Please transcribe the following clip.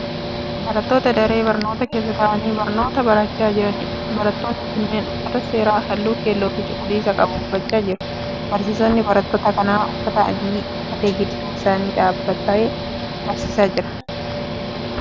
Barattoota daree barnootaa keessa ta'anii barnoota barachaa jiraniidha. Barattoonni kunneen uffata seeraa halluu keelloo fi cuquliisa qabu uffachaa jiru. Barsiisaan barattoota kanaa uffata adii uffatee gidduu isaanii dhaabbatee barsiisaa jira.